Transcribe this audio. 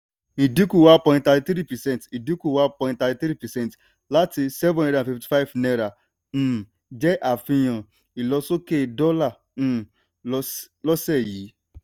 ìdínkù one point thirty three percent ìdínkù one point thirty three percent láti seven hundred and fifty five náírà um jẹ́ àfihàn um ilosoke dólà um lọ́sẹ̀ yìí.